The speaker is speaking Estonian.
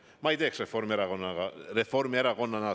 Ma Reformierakonna asemel seda ei teeks.